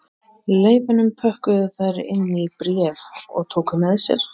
Leifunum pökkuðu þær inn í bréf og tóku með sér